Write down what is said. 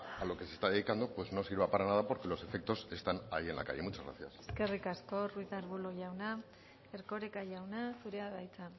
a lo que se está dedicando pues no sirva para nada porque los efectos están ahí en la calle muchas gracias eskerrik asko ruiz de arbulo jauna erkoreka jauna zurea da hitza